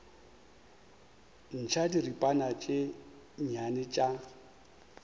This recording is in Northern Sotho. ntšha diripana tše nnyane tša